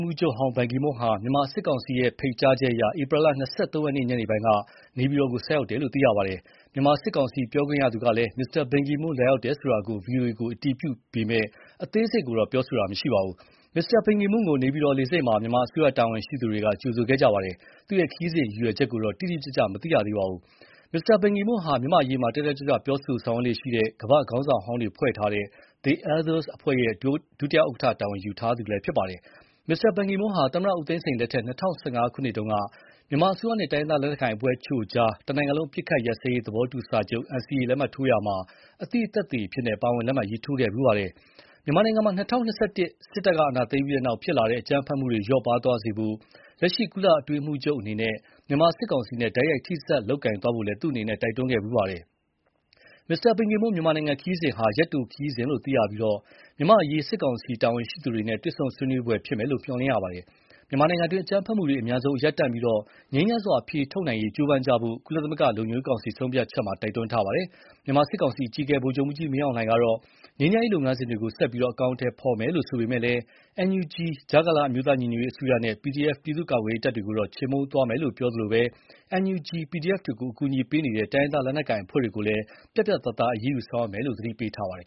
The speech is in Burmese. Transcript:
မှူးချုပ်ဟောင်း ဘန်ကီမွန်းဟာ မြန်မာစစ်ကောင်စီရဲ့ ဖိတ်ကြားချက်အရ ဧပြီလ ၂၃ ရက်နေ့ညနေပိုင်းက နေပြည်တော်ကို ဆိုက်ရောက်တယ်လို့ သိရပါတယ်။ မြန်မာစစ်ကောင်စီ ပြောခွင့်ရသူကလည်း မစ္စတာဘန်ကီမွန်းလာရောက်တယ်ဆိုတာ VOA ကို အတည်ပြုပေမယ့်အသေးစိတ်ကို ပြောဆိုခြင်းမရှိပါဘူး။ မစ္စတာဘန်ကီမွန်းကို နေပြည်တော်လေဆိပ်မှာ မြန်မာအစိုးရတာဝန်ရှိသူတွေက ကြိုဆိုခဲ့ကြပါတယ်။ သူ့ခရီးစဉ်ရည်ရွယ်ချက်ကိုတော့ တိတိကျကျ မသိရသေးပါဘူး။ မစ္စတာဘန်ကီမွန်းဟာ မြန်မာ့အရေးမှာ တက်တက်ကြွကြွပြောဆိုဆောင်ရွက်လေ့ရှိတဲ့ ကမ္ဘာခေါင်းဆောင်ဟောင်းတွေဖွဲ့ထားတဲ့ The Elders အဖွဲ့ရဲ့ ဒု ဥက္ကဌတာဝန်ယူထားသူလည်း ဖြစ်ပါတယ်။ မစ္စတာဘန်ကီမွန်းဟာ သမ္မတဦးသိန်းစိန်လက်ထက် ၂၀၁၅ ခုနှစ်တုန်းက မြန်မာအစိုးရနဲ့ တိုင်းရင်းသားလက်နက်ကိုင်အဖွဲ့တချို့ကြား တနိုင်ငံလုံးအပစ်အခတ်ရပ်စဲရေးသဘောတူစာချုပ် NCA လက်မှတ်ထိုးရာမှာ အသိသက်သေအဖြစ် ပါဝင်လက်မှတ်ထိုးခဲ့ဖူးပါတယ်။ မြန်မာနိုင်ငံမှာ ၂၀၂၁ ခုနှစ် စစ်တပ်အာဏာသိမ်းပြီးနောက်ဖြစ်ပေါ်လာတဲ့ အကြမ်းဖက်မှုတွေ လျော့ပါးသွားစေဖို့ လက်ရှိကုလအတွင်းရေးမှူးချုပ်အနေနဲ့ မြန်မာစစ်ကောင်စီနဲ့ တိုက်ရိုက်ထိစပ်လုပ်ကိုင်သွားဖို့လည်း သူ့အနေနဲ့ တိုက်တွန်းခဲ့ဖူးပါတယ်။ မစ္စတာဘန်ကီမွန်း မြန်မာနိုင်ငံခရီးစဉ်ဟာ ရက်တိုခရီးစဉ်လို့ သိရပြီး မြန်မာ့အရေး စစ်ကောင်စီတာဝန်ရှိသူတွေနဲ့ တွေ့ဆုံဆွေးနွေးဖို့ဖြစ်မယ်လို့ မျှော်လင့်ရပါတယ်။ မြန်မာနိုင်ငံတွင်း အကြမ်းဖက်မှုတွေအမြန်ဆုံးရပ်တန့်ပြီး ငြိမ်းချမ်းစွာအဖြေထုတ်ရေးကြိုးပမ်းကြဖို့ ကုလသမဂ္ဂလုံခြုံရေးကောင်စီ ဆုံးဖြတ်ချက်မှာလည်း တိုက်တွန်းထားတာပါ။ မြန်မာစစ်ကောင်စီ အကြီးအကဲ ဗိုလ်ချုပ်မှူးကြီးမင်းအောင်လှိုင်ကတော့ ငြိမ်းချမ်းရေးလုပ်ငန်းစဉ်တွေကို ဆက်ပြီး အကောင်အထည်ဖော်မယ်လို့ ဆိုပေမယ့် NUG ကြားကာလအမျိုးသားညီညွတ်ရေးအစိုးရနဲ့ PDF ပြည်သူ့ကာကွယ်ရေးတပ်တွေကိုတော့ ချေမှုန်းသွားမယ်လို့ပြောသလို NUG/PDF ကို အကူအညီပေးတဲ့ တိုင်းရင်းသားလက်နက်ကိုင်အဖွဲ့တွေကိုလည်း ပြတ်ပြတ်သားသားအရေးယူဆောင်ရွက်မယ်လို့ သတိပေးထားပါတယ်